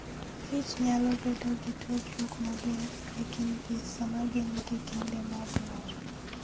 kichnyalo bedo gi tudruok maber e kindgi sama gin gi kinde mag mor.